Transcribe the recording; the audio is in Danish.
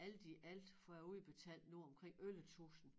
Alt i alt får jeg udbetalt nu omkring 11 tusind